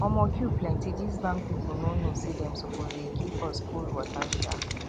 omo queue plenty this bank people no know say dem suppose dey give us cold water um